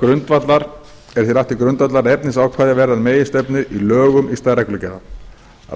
grundvallar að efnisákvæði verði að meginstefnu í lögum í stað reglugerða